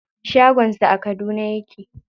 Shagon sa a Kaduna yake.